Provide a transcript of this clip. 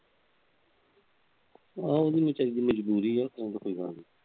ਆ ਉਹਦੀ ਵਿਚਾਰੀ ਦੀ ਮਜਬੂਰੀ ਏ, ਹੋਰ ਤਾਂ ਕੋਈ ਗੱਲ ਨਹੀਂ।